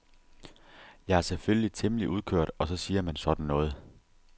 Jeg er selvfølgelig temmelig udkørt og så siger man sådan noget.